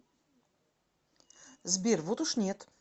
сбер вот уж нет